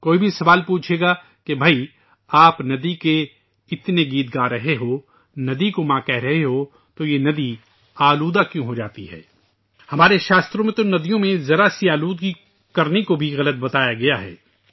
کوئی بھی سوال پوچھے گا کہ بھائی آپ ندی کے اتنے گیت گا رہے ہیں ، ندی کو ماں کہہ رہے ہیں ، تو یہ ندی آلودہ کیوں ہوجاتی ہے؟ ہمارے شاستروں میں تو ندیوں کو تھوڑا سا آلودہ کرنا بھی غلط کہا گیا ہے